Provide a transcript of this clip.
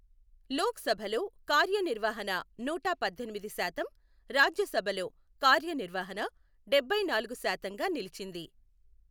లోక్ సభలో కార్యనిర్వహణ నూట పద్దెనిమిది శాతం, రాజ్య సభలో కార్యనిర్వహణ డెభ్బై నాలుగు శాతంగా నిలిచింది.